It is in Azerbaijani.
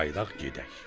"Qayıdaq gedək."